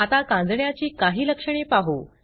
आता कांजिण्याची काही लक्षणे पाहू